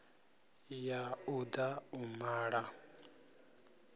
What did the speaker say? ya u da u mala